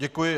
Děkuji.